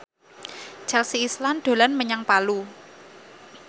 Chelsea Islan dolan menyang Palu